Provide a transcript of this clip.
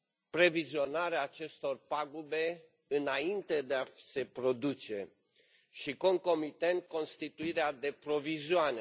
previzionarea acestor pagube înainte de a se produce și, concomitent, constituirea de provizioane.